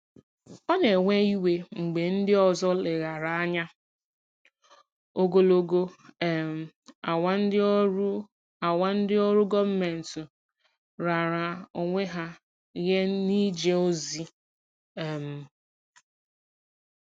Ọ na-ewe iwe mgbe ndị ọzọ leghaara anya ogologo um awa ndị ọrụ awa ndị ọrụ gọọmentị raara onwe ha nye n'ije ozi. um